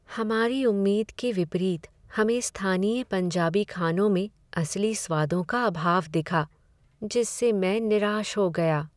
हमारी उम्मीद के विपरीत हमें स्थानीय पंजाबी खानों में असली स्वादों का अभाव दिखा जिससे मैं निराश हो गया।